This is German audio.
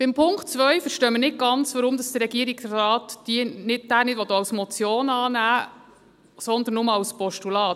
Beim Punkt 2 verstehen wir nicht ganz, weshalb der Regierungsrat diesen nicht als Motion annehmen will, sondern nur als Postulat.